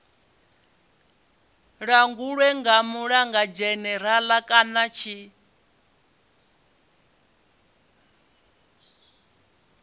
langulwe nga mulangulidzhenerala kana tshi